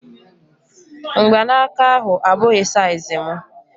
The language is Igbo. Mgbanaka ahu abụghị saiz mụ